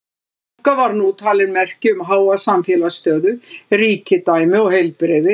Sólbrúnka var nú talin merki um háa samfélagslega stöðu, ríkidæmi og heilbrigði.